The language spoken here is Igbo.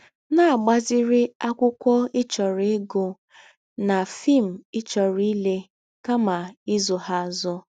Na - agbaziri akwụkwọ ị chọrọ ịgụ na fim ị chọrọ ịle kama ịzụ ha azụ. *